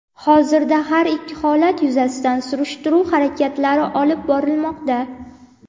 Hozirda har ikki holat yuzasidan surishtiruv harakatlari olib borilmoqda.